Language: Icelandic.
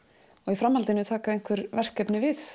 í framhaldinu taka einhver verkefni við